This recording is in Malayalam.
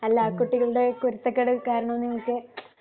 അല്ല കുട്ടികളുടെ കുരുത്തക്കേട് കാരണം നിങ്ങൾക്ക്